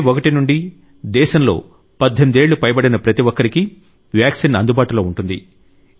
మే 1 నుండి దేశంలో 18 ఏళ్లు పైబడిన ప్రతి ఒక్కరికీ వ్యాక్సిన్ అందుబాటులో ఉంటుంది